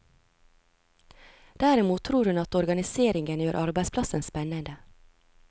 Derimot tror hun at organiseringen gjør arbeidsplassen spennende.